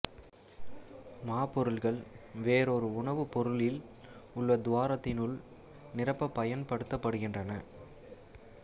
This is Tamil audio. மாப்பொருள்கள் வேறொரு உணவு பொருளில் உள்ள துவாரத்தினுள் நிரப்பப் பயன்படுத்தப்படுகின்றன